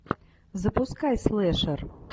запускай слэшер